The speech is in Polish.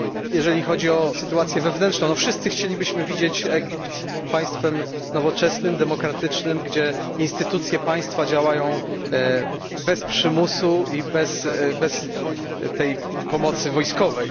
Jeżeli chodzi o sytuację wewnętrzną, wszyscy chcielibyśmy, aby Egipt był państwem nowoczesnym, demokratycznym, gdzie instytucje państwa działają bez przymusu i bez tej pomocy wojskowej.